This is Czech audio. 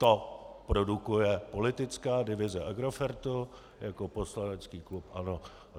To produkuje politická divize Agrofertu jako poslanecký klub ANO.